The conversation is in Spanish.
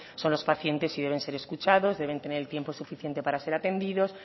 son los pacientes y deben ser escuchados deben de tener el tiempo suficiente para ser atendidos